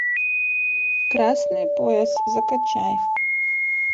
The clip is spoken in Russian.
красный пояс закачай